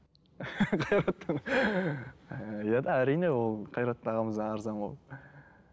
әрине ол қайрат ағамыздан арзан ғой